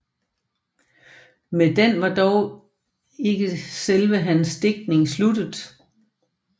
Med den var dog ikke selve hans digtning sluttet